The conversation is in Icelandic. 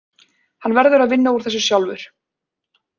Hann verður að vinna úr þessu sjálfur.